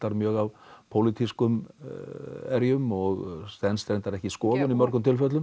mjög af pólitískum erjum og stenst reyndar ekki skoðun í mörgum tilfellum